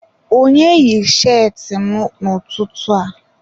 Onye yi cheetị m n'ụtụtụ a?